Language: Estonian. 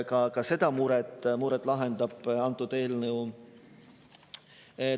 Ka seda muret lahendab antud eelnõu.